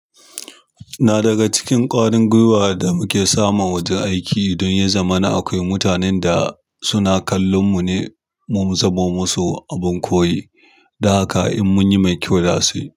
Na daga cikin ƙwarin gwiwa da muke samu wajen aiki. Don ya zama na akwai mutanen da suna kallon mu ne, mu muzamo musu abin koyi. Da haka in munyi mai kyau za su.